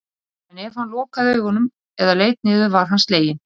Þegar hún gortar lætur hún sem hún sé að segja brandara.